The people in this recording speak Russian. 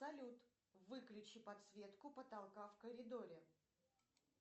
салют выключи подсветку потолка в коридоре